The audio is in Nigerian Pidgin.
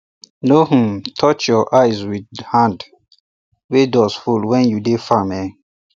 no um touch your eye with um hand wey dust full when you dey farm um